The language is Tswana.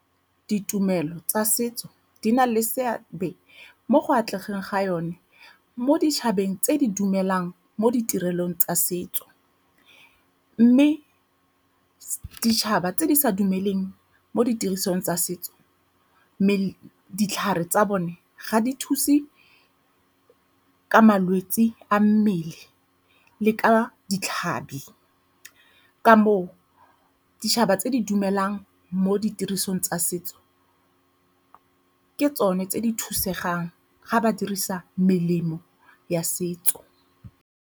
Ditumelo tsa setso di na le seabe mo go atlegang ga yone mo ditšhabeng tse di dumelang mo ditirelong tsa setso mme ditšhaba tse di sa dumelaneng mo ditirisong tsa setso, mme ditlhare tsa bone ga di thuse ka malwetse a mmele le ka ditlhabi, ka moo ditšhaba tse di dumelang mo ditirisong tsa setso ke tsone tse di thusegang ga ba dirisa melemo ya setso.